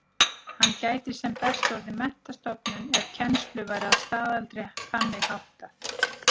Hann gæti sem best orðið menntastofnun ef kennslu væri að staðaldri þannig háttað.